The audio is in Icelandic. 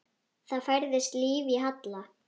Það færðist líf í Halla.